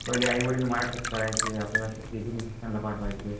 पहिले आईवडील करायचे आपल्याला ला पाठवायचे